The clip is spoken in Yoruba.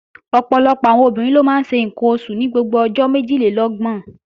Ọ̀pọ̀lọpọ̀ àwọn obìnrin ló máa ń ṣe ǹkan oṣù ní gbogbo ọjọ́ méjìlélọ́gbọ̀n